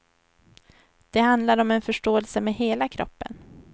Det handlar om en förståelse med hela kroppen.